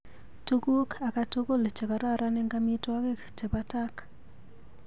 Tukuk akatukul chekororon eng amitwogik chebo tak.